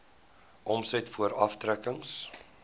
omset voor aftrekkings